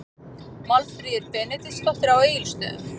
Málfríður Benediktsdóttir á Egilsstöðum